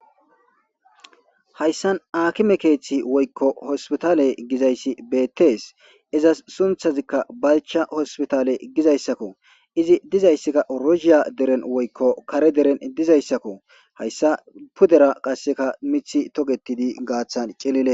Hayssan akime keeththi woykko hospitaale gizayssi beettees izas sunthazikka balcha hospitaale gizayssakko izi dizayssakka oroshiya deren woykko kare deren dizayssakko hayssa pudera qasseka mithi togetidi gaaththan cilile.